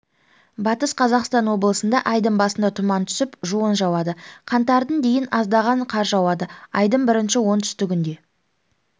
батыс қазақстан облысындаайдың басында тұман түсіп жуын жауады қаңтардың дейін аздаған қар жауады айдың бірінші онкүндігінде